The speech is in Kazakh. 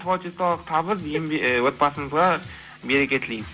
творчестволық табыс ыыы отбасыңызға береке тілеймін